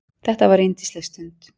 Þetta var yndisleg stund.